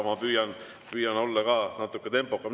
Ma püüan olla natuke tempokam.